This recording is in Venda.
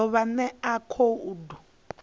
u ḓo vha ṋea khoudu